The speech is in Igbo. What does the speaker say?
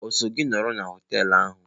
O so gi nọrọ na họteelu ahụ?